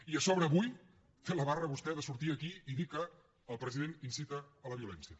i a sobre avui té la barra vostè de sortir aquí i dir que el president incita a la violència